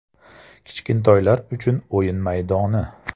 Kichkintoylar uchun o‘yin maydoni.